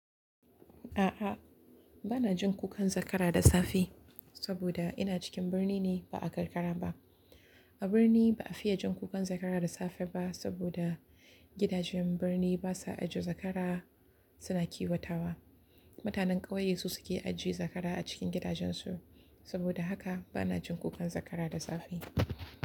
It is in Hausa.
A'a, ba na jin kukan zakara da safe saboda ina cikin birni ne ba a karkara ba. A birni ba a fiye jin kukan zakara da safe ba saboda gidajen birni basa ajiye zakara, suna kiwatawa. Mutanen ƙauye su suke ajiye zakara a cikin gidajen su. Saboda haka bana jin kukan zakara da safe.